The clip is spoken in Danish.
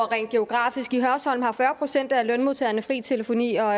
rent geografisk i hørsholm har fyrre procent af lønmodtagerne fri telefoni og